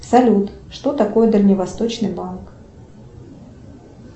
салют что такое дальневосточный банк